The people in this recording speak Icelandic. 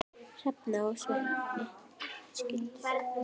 Hrefna og Sveinn skildu.